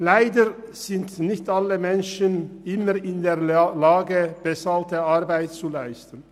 Leider sind nicht alle Menschen immer in der Lage, bezahlte Arbeit zu leisten.